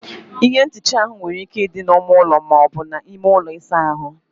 Ihe nhicha áhụ nwere ike ịdị na ímé ụlọ, maọbu na ime ụlọ ịsa ahụ